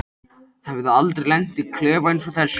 Hefði aldrei lent í klefa einsog þessum.